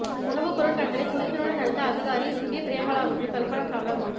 உணவு பொருள் கடத்தலை துணிச்சலுடன் தடுத்த அதிகாரி சுகி பிரேமலாவுக்கு கல்பனா சாவ்லா விருது